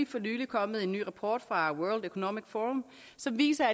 for nylig kommet en ny rapport fra world economic forum som viser